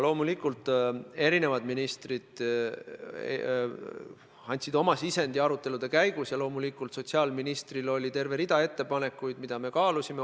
Loomulikult andsid ministrid arutelude käigus oma sisendi ja loomulikult oli sotsiaalministril terve rida ettepanekuid, mida me kaalusime.